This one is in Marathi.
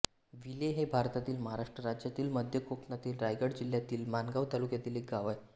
विले हे भारतातील महाराष्ट्र राज्यातील मध्य कोकणातील रायगड जिल्ह्यातील माणगाव तालुक्यातील एक गाव आहे